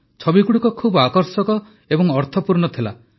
ଛବିଗୁଡ଼ିକ ଖୁବ ଆକର୍ଷକ ଏବଂ ଅର୍ଥପୂର୍ଣ୍ଣ ଥିଲା